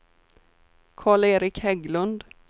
Karl-Erik Hägglund